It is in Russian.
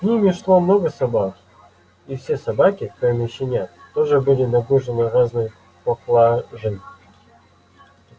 с ними шло много собак и все собаки кроме щенят тоже были нагружены разной поклажей